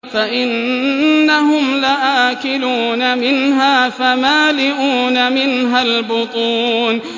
فَإِنَّهُمْ لَآكِلُونَ مِنْهَا فَمَالِئُونَ مِنْهَا الْبُطُونَ